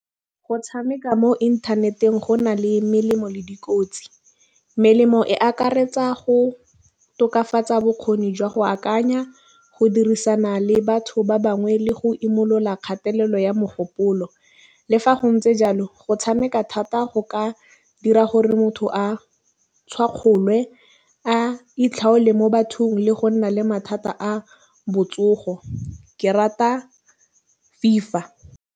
Go tšhameka mo inthaneteng go na le melemo le dikotsi melemo e akaretsa go tokafatsa bokgoni jwa go akanya. Go dirisana le batho ba bangwe le go imolola kgatelelo ya mogopolo. Le fa go ntse jalo go tšhameka thata go ka dira gore motho a tšhwakgolwe a itlhole mo bathong le go nna le mathata a botsogo ke rata FIFA.